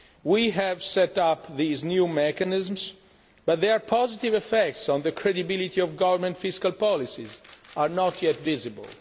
We have set up these new mechanisms, but their positive effects on the credibility of government fiscal policies are not yet visible.